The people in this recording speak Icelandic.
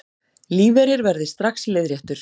Lífeyrir verði strax leiðréttur